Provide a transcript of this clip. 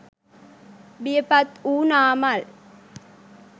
බියපත් වූ නාමල්